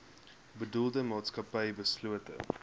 bedoelde maatskappy beslote